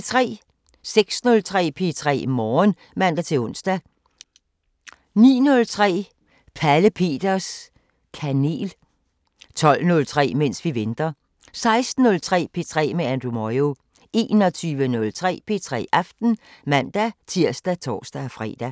06:03: P3 Morgen (man-ons) 09:03: Pelle Peters Kanel 12:03: Mens vi venter 16:03: P3 med Andrew Moyo 21:03: P3 Aften (man-tir og tor-fre)